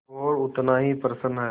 और उतना ही प्रसन्न है